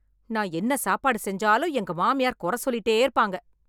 நான் என்ன சாப்பாடு செஞ்சாலும் எங்க மாமியார் குறை சொல்லிட்டு இருப்பாங்க.